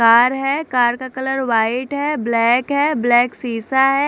Car है car colour white है black है ब्लैक सीसा है।